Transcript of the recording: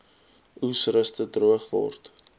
oesreste droog geword